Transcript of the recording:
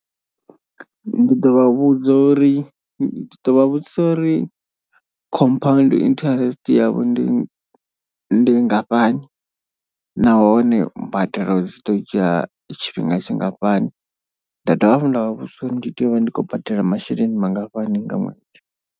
Ndi ḓo vha vhudza uri ndi ḓo vha vhudzisa uri compound interest yavho ndi ndi ngafhani, nahone mbadela uri dzi ḓo dzhia tshifhinga tshingafhani. Nda dovha hafhu nda vha vhudzisa uri ndi tea u vha ndi khou badela masheleni mangafhani nga ṅwedzi.